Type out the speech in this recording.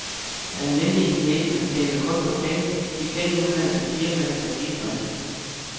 Almindelige kinesere tænker kun på penge, de penge udenlandske firmaer kan bringe.